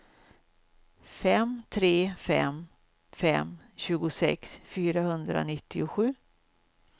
fem tre fem fem tjugosex fyrahundranittiosju